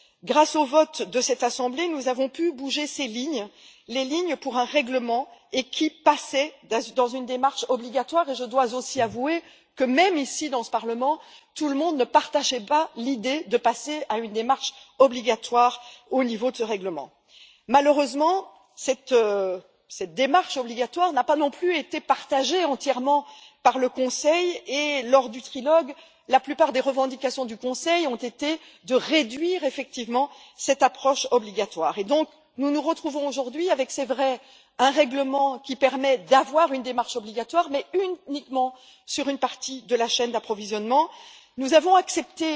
Grâce au vote de cette assemblée, nous avons pu bouger ces lignes, les lignes pour un règlement qui passait dans une démarche obligatoire, et je dois aussi avouer que même ici, dans ce Parlement, tout le monde ne partageait pas l'idée de passer à une démarche obligatoire au niveau de ce règlement. Malheureusement cette démarche obligatoire n'a pas non plus été partagée entièrement par le Conseil et lors du trilogue, la plupart des revendications du Conseil ont été de réduire effectivement cette approche obligatoire et donc nous nous retrouvons aujourd'hui avec, il est vrai, un règlement qui permet d'avoir une démarche obligatoire, mais uniquement sur une partie de la chaîne d'approvisionnement. Nous avons accepté